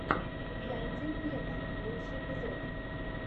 яндель вево лучший эпизод